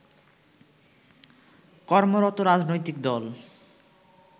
কর্মরত রাজনৈতিক দল